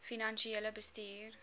finansiële bestuur